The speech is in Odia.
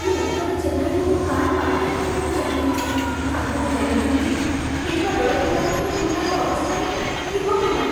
ମୁଁ ଉତ୍ତର ଚେନ୍ନାଇରେ ମୋ କାର୍ ପାର୍କିଂ କରିବାକୁ ଚାହିଁ ନଥାଏ, କାରଣ ମୁଁ ଜାଣେ ନାହିଁ ଯେ ଫେରିବାବେଳକୁ ଏହା ଗୋଟିଏ ପୂର୍ଣ୍ଣାଙ୍ଗ ଅବସ୍ଥାରେ ଥିବ କି ନା।